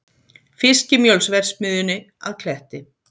Fiskimjölsverksmiðjunni að Kletti.